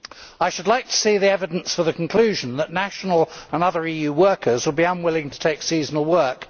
I should like to see the evidence for the conclusion that national and other EU workers would be unwilling to take seasonal work.